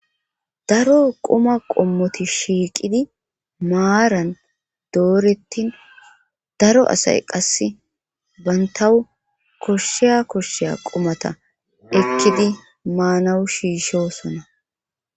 daro qoma qommoti shiiqidi maaran doorettin daro asay qasse bantawu koshsheya koshsheya qomata ekkidi maanawu shiishosona